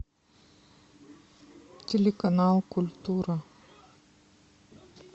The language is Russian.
телеканал культура